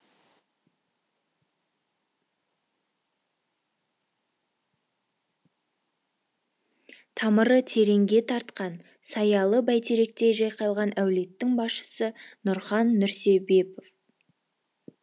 тамыры тереңге тартқан саялы бәйтеректей жайқалған әулеттің басшысы нұрхан нұрсебепов